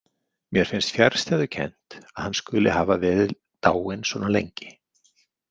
Mér finnst fjarstæðukennt að hann skuli hafa verið dáinn svona lengi.